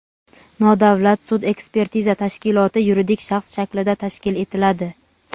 nodavlat sud-ekspertiza tashkiloti yuridik shaxs shaklida tashkil etiladi.